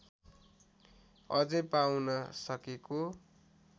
अझै पाउन सकेको